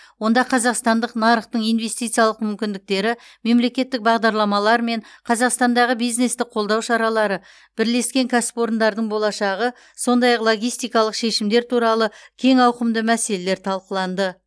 онда қазақстандық нарықтың инвестициялық мүмкіндіктері мемлекеттік бағдарламалар мен қазақстандағы бизнесті қолдау шаралары бірлескен кәсіпорындардың болашағы сондай ақ логистикалық шешімдер туралы кең ауқымды мәселелер талқыланды